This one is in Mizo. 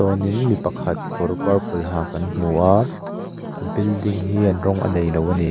chuanin mi pakhat kawr purple ha kan hmu a a building hian rawng a neilo a ni.